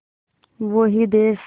वो ही देस